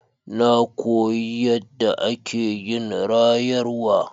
Na koyi yadda ake yin rayarwa.